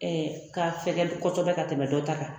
K'a fɛgɛ kosɛbɛ ka tɛmɛ dɔ ta kan